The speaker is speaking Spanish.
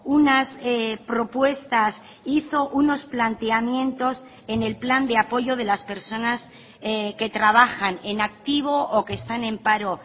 unas propuestas hizo unos planteamientos en el plan de apoyo de las personas que trabajan en activo o que están en paro